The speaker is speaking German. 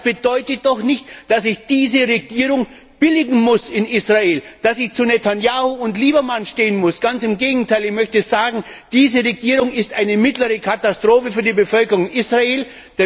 Aber das bedeutet doch nicht, dass ich diese Regierung in Israel billigen muss, dass ich zu Netanjahu und Lieberman stehen muss. Ganz im Gegenteil. Ich möchte sagen Diese Regierung ist eine mittlere Katastrophe für die Bevölkerung Israels.